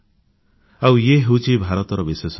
ଆଉ ଇଏ ହେଉଛି ଭାରତର ବିଶେଷତ୍ୱ